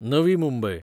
Navi Mumbai